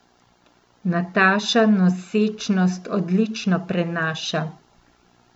Nataša nosečnost odlično prenaša.